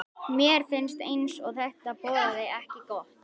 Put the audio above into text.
Mér fannst eins og þetta boðaði ekki gott.